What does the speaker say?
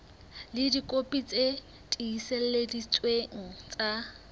ka dikopi tse tiiseleditsweng tsa